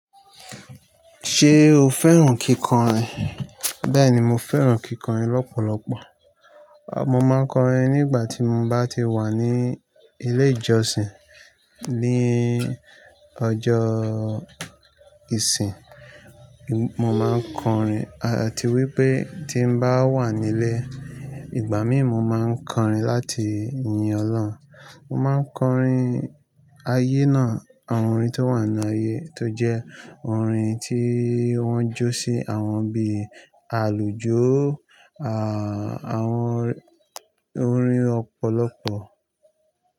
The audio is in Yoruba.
Ṣé o fẹ́ràn kíkọrin? Bẹ́ẹ̀ni, mo fẹ́ràn kíkọrin lọ́pọ̀lọpọ̀. Mo máa ń kọrin nígbà tí mo bá ti wà ní ilé ìjọsìn, ní ọjọ́ ìsin. Mo máa ń kọrin àti wípé tí n bá wà nílé, ìgbà míí mọ̀ máa ń kọrin láti yin ọlọ́run. Mo máa ń kọrin ayé náà, àwọn orin tó wà nínú ayé tó jẹ́ orin tí wọ́n jó sí àwọn bí i àlùjó, à, àwọn orin ọ̀pọ̀lọpọ̀